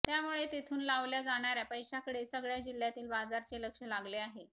त्यामुळे तिथून लावल्या जाणार्या पैशाकडे सगळ्या जिल्ह्यातील बाजाराचे लक्ष लागले आहे